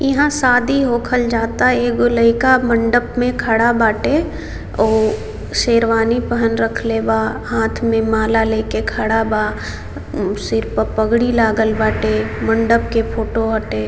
यहां शादी होकल जाता एगो लयका मंडप में खड़ा बाटे ऊ शेरवानी पहन रखले बा हाथ में माला लेकर खड़ा बा सिर पर पगड़ी लागल बाटे मंडप के फोटो हटे।